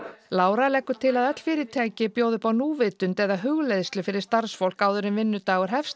Lára leggur til að öll fyrirtæki bjóði upp á núvitund eða hugleiðslu fyrir starfsfólk áður en vinnudagur hefst